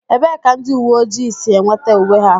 Ebee ka ndị uwe ojii si enweta uwe ha